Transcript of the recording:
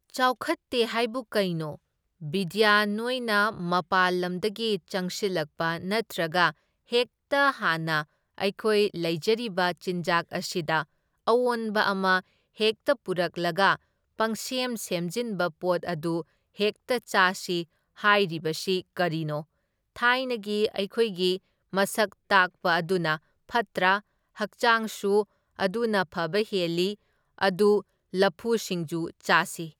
ꯆꯥꯎꯈꯠꯇꯦ ꯍꯥꯏꯕꯨ ꯀꯩꯅꯣ, ꯕꯤꯗ꯭ꯌꯥ ꯅꯣꯏꯅ ꯃꯄꯥꯜꯂꯝꯗꯒꯤ ꯆꯪꯁꯤꯜꯂꯛꯄ ꯅꯠꯇ꯭ꯔꯒ ꯍꯦꯛꯇ ꯍꯥꯟꯅ ꯑꯩꯈꯣꯏ ꯂꯩꯖꯔꯤꯕ ꯆꯤꯟꯖꯥꯛ ꯑꯁꯤꯗ ꯑꯑꯣꯟꯕ ꯑꯃ ꯍꯦꯛꯇ ꯄꯨꯔꯛꯂꯒ ꯄꯪꯁꯦꯝ ꯁꯦꯝꯖꯤꯟꯕ ꯄꯣꯠ ꯑꯗꯨ ꯍꯦꯛꯇ ꯆꯥꯁꯤ ꯍꯥꯏꯔꯤꯕꯁꯤ ꯀꯔꯤꯅꯣ, ꯊꯥꯏꯅꯒꯤ ꯑꯩꯈꯣꯏꯒꯤ ꯃꯁꯛ ꯇꯥꯛꯄ ꯑꯗꯨꯅ ꯐꯠꯇ꯭ꯔꯥ ꯍꯛꯆꯥꯡꯁꯨ ꯑꯗꯨꯅ ꯐꯕ ꯍꯦꯜꯂꯤ, ꯑꯗꯨ ꯂꯐꯨ ꯁꯤꯡꯖꯨ ꯆꯥꯁꯤ꯫